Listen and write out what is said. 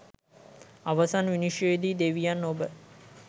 අවසන් විනිශ්චයේදී දෙවියන් ඔබ